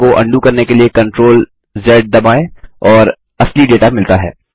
क्रम को अन्डू करने के लिए CTRLZ दबाएँ और असली डेटा मिलता है